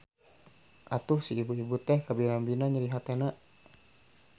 Atuh si ibu-ibu teh kabina-bina nyeri hatena.